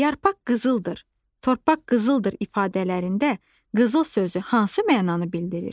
Yarpaq qızıldır, torpaq qızıldır ifadələrində qızıl sözü hansı mənanı bildirir?